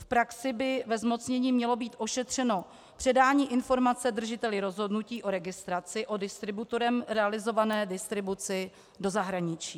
V praxi by ve zmocnění mělo být ošetřeno předání informace držiteli rozhodnutí o registraci o distributorem realizované distribuci do zahraničí.